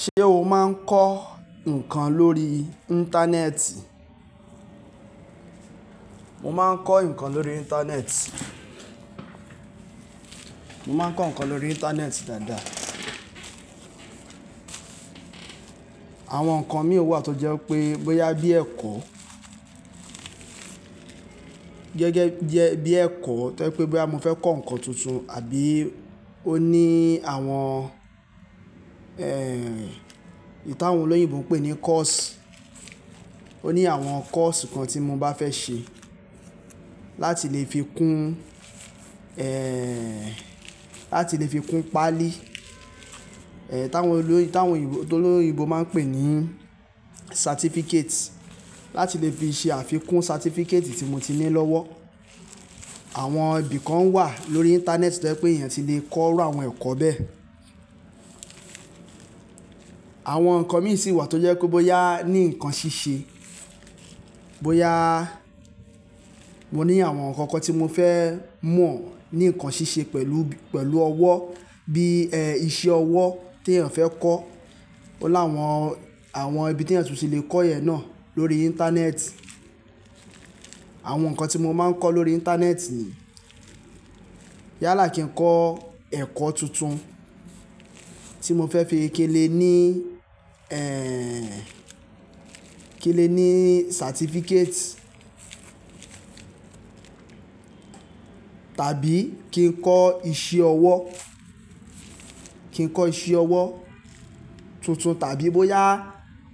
Ṣé o máa ń kọ́ ǹkan lórí Íńtánẹ́ẹ̀tì? Mo máa ń kọ ǹkan lórí Íńtánẹ́ẹ̀tì. Mo máa ń kọ ǹkan lórí Íńtánẹ́ẹ̀tì dáadáa. Àwọn ǹkan mi wà tó jẹ́ wi pé bóyá bí ẹ̀kọ́, gẹ́gẹ́ bí ẹ̀kọ́ tó jẹ́ pé bóyá mo fẹ́ kọ́ ǹkan tuntun àbí ó ní àwọn, ẹ́ẹ̀, ntí àwọn olóyìnbo pè ní course ó ní àwọn course kan tí mo bá fẹ́ ṣe láti lè fi kún, ẹ́ẹ̀, láti lè fi kún páálí, ẹ́ẹ̀, tí àwọn olóyìn, tí àwọn òyìnbó, tó olóyìnbó máa ń pè ní certificate láti lè fi ṣe àfi kún certificate tí mo ti ní lọ́wọ́. Àwọn ibi kan wà lórí Íńtánẹ́ẹ̀tì tó jẹ́ pé èèyàn ti lè kọ iru àwọn ẹ̀kọ́ bẹ́ẹ̀. Àwọn ǹkan mi sì wà tó jẹ́ pé bóyá ní ǹkan ṣíṣe, bóyá mo ní àwọn ǹkan kan tí mo fẹ́ mọ̀ ní ǹkan ṣíṣe pẹ̀lú, pẹ̀lú ọwọ́ bí iṣẹ́ ọwọ́ tí èèyàn fẹ́ kọ́. Ó láwọn, àwọn ibi tí èèyàn tún ti lè kọ́ yen náà lórí Íńtánẹ́ẹ̀tì. Àwọn ǹkan tí mo máa ń kọ́ lórí Íńtánẹ́ẹ̀tì yálà kí ń kọ́ ẹ̀kọ́ tuntun tí mo fẹ́ fi kinle ní, ẹ́ẹ̀, kinle ní certificate tàbí kí ń kọ́ iṣẹ́ ọwọ́, kí ń kọ́ iṣẹ́ ọwọ́ tuntun tàbí bóyá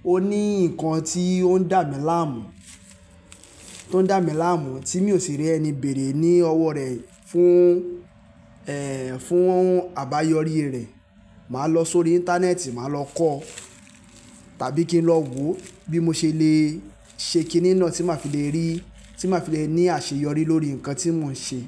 ó ní ǹkan tí ó ń dà mí láàmú, tó ń dà mí láàmú tí mi ò sì rí ẹni bèrè ní ọwọ́ rẹ̀ fún, ẹ́ẹ̀, fún àbáyọrí rẹ̀. Màá lọ sórí Íńtánẹ́ẹ̀tì, màá lọ kọ́ tàbí kí ń lọ wò bí mo ṣe lè ṣe kiní náà tí màá fi lè rí, tí màá fi lè ní àṣeyọrí lórí ǹkan tí mò ń ṣe.